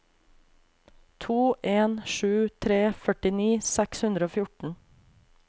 to en sju tre førtini seks hundre og fjorten